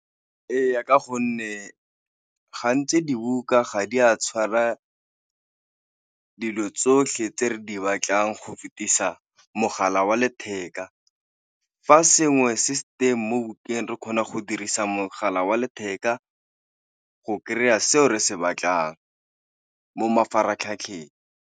Eya, ka gonne gantsi dibuka ga di a tshwara dilo tsotlhe tse re di batlang go fetisa mogala wa letheka. Fa sengwe se se teng mo bukeng, re kgona go dirisa mogala wa letheka go kry-a seo re se batlang mo mafaratlhatlheng.